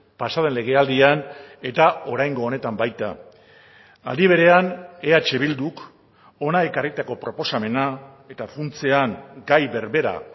pasa den legealdian eta oraingo honetan baita aldi berean eh bilduk hona ekarritako proposamena eta funtsean gai berbera